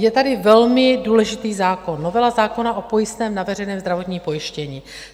Je tady velmi důležitý zákon - novela zákona o pojistném na veřejné zdravotní pojištění.